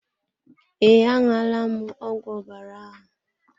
Ee, a ṅụọ la m ọgwụ ọbara ahụ.